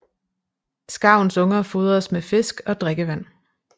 Skarvens unger fodres med fisk og drikkevand